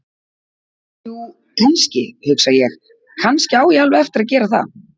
Jú, kannski, hugsa ég: Kannski á ég alveg eftir að gera það.